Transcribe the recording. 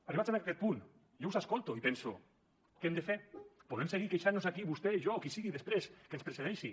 arribats en aquest punt jo us escolto i penso què hem de fer podem seguir queixant nos aquí vostè i jo qui sigui després que ens precedeixi